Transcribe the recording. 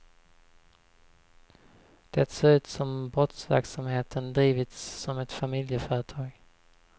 Det ser ut som om brottsverksamheten drivits som ett familjeföretag.